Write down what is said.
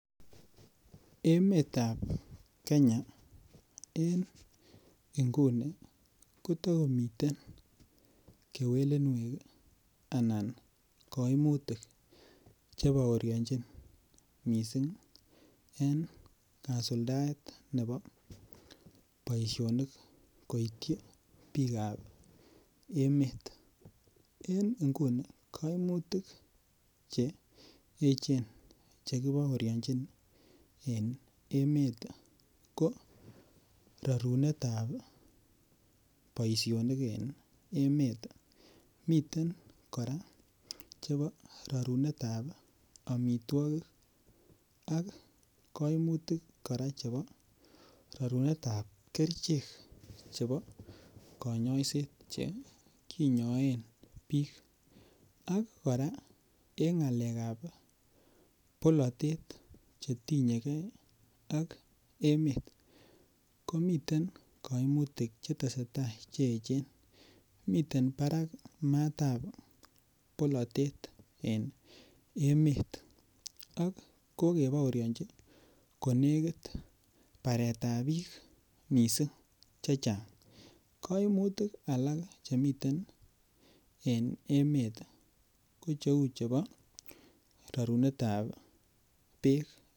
Emetab Kenya en nguni kotakomiten kewelinwek anan koimutik Che baorionjin mising en kasuldaet ab boisionik koityi bikap emet en nguni koimutik Che echen Che kibaorinjin en emet ko rorunet ab boisionik en emet miten chebo rorunet ab amitwogik ak koimutik kora chebo rorunet ab chebo kanyoiset Che kinyoen bik ak kora en ngalekab bolatet Che tinye ge ak emet komiten koimutik Che tesetai Che echen miten matab bolatet en emet ak kokebaorionji baretab bik chechang koimutik alak Che miten en emet ko cheu chebo rorunet ab Bek